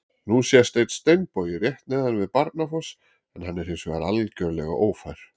Nú sést einn steinbogi rétt neðan við Barnafoss en hann er hins vegar algjörlega ófær.